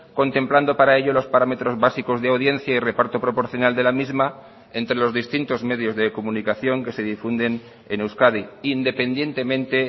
contemplando para ello los parámetros básicos de audiencia y reparto proporcional de la misma entre los distintos medios de comunicación que se difunden en euskadi independientemente